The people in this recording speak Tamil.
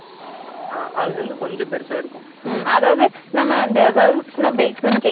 ம் அதாவது நம்ம இந்த girls and basin cake மேல உள்ளத விட இன்னும் கொஞ்சம் பெருசா இருக்கும்